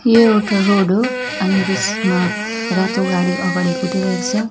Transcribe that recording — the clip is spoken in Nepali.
यो एउटा रोड हो अनि त्यसमा रातो गाड़ी अगाडि कुदिरहेको छ।